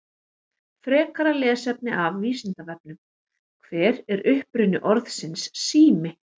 Frekara lesefni af Vísindavefnum: Hver er uppruni orðsins sími?